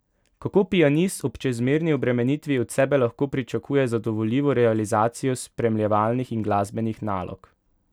Kako pianist ob čezmerni obremenitvi od sebe lahko pričakuje zadovoljivo realizacijo spremljevalnih in glasbenih nalog?